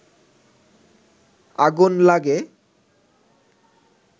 আগুন লাগে